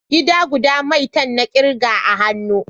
Gida guda maitan na kirga a hanya